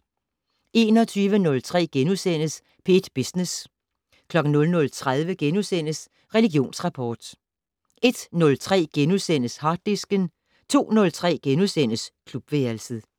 21:03: P1 Business * 00:30: Religionsrapport * 01:03: Harddisken * 02:03: Klubværelset *